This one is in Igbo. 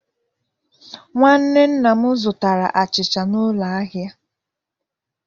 Nwanne nna m zụtara achịcha n'ụlọ ahịa.